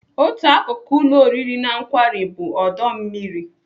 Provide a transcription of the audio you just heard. Otu akụkụ ụlọ oriri na nkwari bụ ọdọ mmiri.